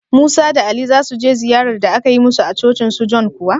Musa da Ali za su je ziyar da aka yi musu a cocin su John kuwa?